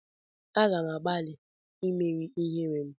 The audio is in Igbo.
Aga m agbalị imeri ihere m.